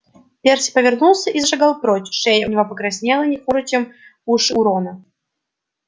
перси повернулся и зашагал прочь шея у него покраснела не хуже чем уши у рона